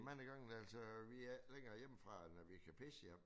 Mange gange altså vi er ikke længere hjemmefra end at vi kan pisse hjem